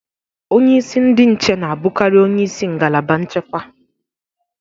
Onye isi ndị nche na-abụkarị onye isi ngalaba nchekwa.